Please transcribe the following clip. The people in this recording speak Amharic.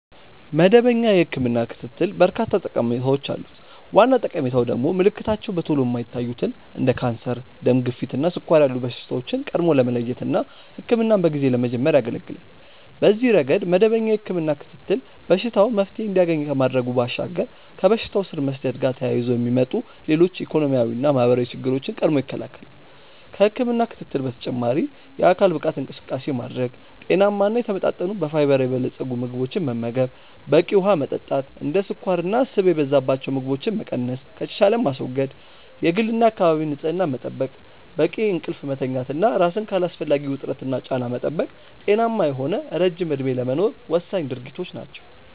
መደበኛ የህክምና ክትትል በርካታ ጠቀሜታዎች አሉት። ዋና ጠቀሜታው ደግሞ ምልክታቸው በቶሎ የማይታዩትን እንደ ካንሰር፣ ደም ግፊት እና ስኳር ያሉ በሽታዎችን ቀድሞ ለመለየት እና ህክምናን በጊዜ ለመጀመር ያገለገላል። በዚህ ረገድ መደበኛ የህክምና ክትትል በሽታው መፍትሔ እንዲያገኝ ከማድረጉ ባሻገር ከበሽታው ስር መስደድ ጋር ተያይዞ የሚመጡ ሌሎች ኢኮኖሚያዊና ማህበራዊ ችግሮችን ቀድሞ ይከለከላል። ከህክምና ክትትል በተጨማሪ የአካል ብቃት እንቅስቃሴ ማድረግ፣ ጤናማ እና የተመጣጠኑ በፋይበር የበለፀጉ ምግቦችን መመገብ፣ በቂ ውሀ መጠጣት፣ እንደ ስኳርና ስብ የበዛባቸው ምግቦችን መቀነስ ከተቻለም ማስወገድ፣ የግልና የአካባቢ ንጽህና መጠበቅ፣ በቂ እንቅልፍ መተኛት እና ራስን ከአላስፈላጊ ውጥረትና ጫና መጠበቅ ጤናማ የሆነ ረጅም እድሜ ለመኖር ወሳኝ ድርጊቶች ናቸው።